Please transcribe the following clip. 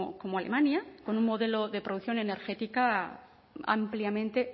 como alemania con un modelo de producción energética ampliamente